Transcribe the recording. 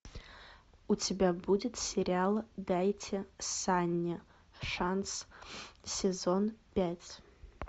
у тебя будет сериал дайте санни шанс сезон пять